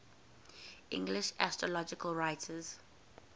english astrological writers